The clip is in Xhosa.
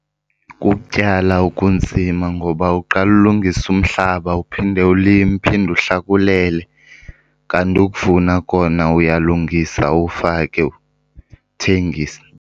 Kukutyala okunzima ngoba uqala ulungise umhlaba uphinde ulime, uphinde uhlakulele. Kanti ukuvuna kona uyalungisa, ufake, uthengise.